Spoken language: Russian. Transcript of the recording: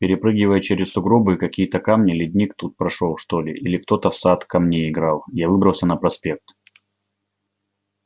перепрыгивая через сугробы и какие-то камни ледник тут прошёл что ли или кто-то в сад камней играл я выбрался на проспект